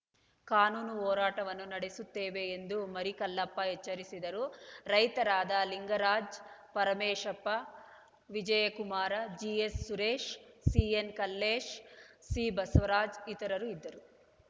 ಕಾನೂನು ಹೋರಾಟವನ್ನೂ ನಡೆಸುತ್ತೇವೆ ಎಂದು ಮರಿಕಲ್ಲಪ್ಪ ಎಚ್ಚರಿಸಿದರು ರೈತರಾದ ಲಿಂಗರಾಜ ಪರಮೇಶಪ್ಪ ವಿಜಯಕುಮಾರ ಜಿಎಸ್‌ಸುರೇಶ ಸಿಎನ್‌ಕಲ್ಲೇಶ ಸಿಬಸವರಾಜ ಇತರರು ಇದ್ದರು